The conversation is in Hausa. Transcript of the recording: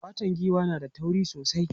Fatan giwa na da tauri sosai.